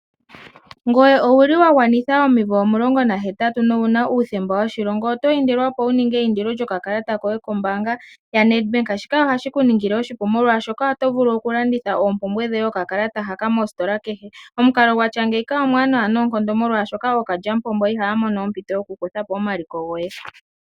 Ngoye owuli wa gwanitha oomvula 18 nowuna uuthemba woshilongo? Oto indilwa opo wu ninge eyindilo lyoka kalata koye kombaanga yaNedbank shika ohashi ku ningile oshipu, molwaashoka oto vulu oku landitha oompumbwe dhoye oka kalata haka mositola kehe. Omukalo gwatya ngeika omwaanawa noonkondo, molwaashoka ookalya mupombo ihaya mono ompito yoku kutha po omaliko goye.